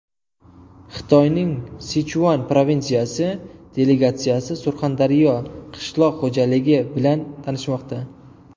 Xitoyning Sichuan provinsiyasi delegatsiyasi Surxondaryo qishloq xo‘jaligi bilan tanishmoqda.